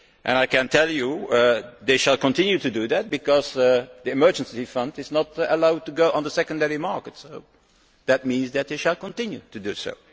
I can tell you that it will continue to do that, because the emergency fund is not allowed to go on the secondary markets. This means that it will continue to do so.